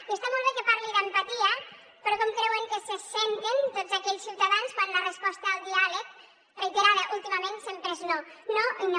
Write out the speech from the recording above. i està molt bé que parli d’empatia però com creuen que se senten tots aquells ciutadans quan la resposta al diàleg reiterada últimament sempre és no no i no